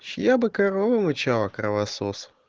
чья бы корова мычала кровосос